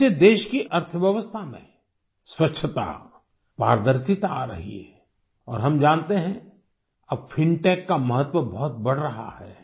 इससे देश की अर्थव्यवस्था में स्वच्छता पारदर्शिता आ रही है और हम जानते है अब फिनटेक का महत्व बहुत बढ़ रहा है